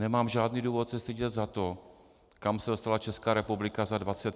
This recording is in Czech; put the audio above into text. Nemám žádný důvod se stydět za to, kam se dostala Česká republika za 25 let.